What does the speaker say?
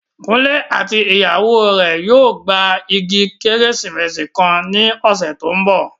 Kunle àti ìyàwó rẹ̀ yóò gba igi Kérésìmesì kan ní ọ̀sẹ̀ tó ń bọ̀